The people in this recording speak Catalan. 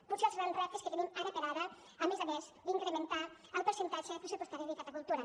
potser els grans reptes que tenim ara per ara a més a més d’incrementar el percentatge pressupostari dedicat a cultura